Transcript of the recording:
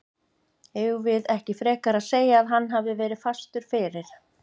Eigum við ekki frekar að segja að hann hafi verið fastur fyrir?